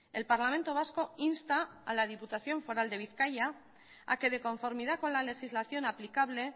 el parlamento vasco insta a la diputación foral de bizkaia a que de conformidad con la legislación aplicable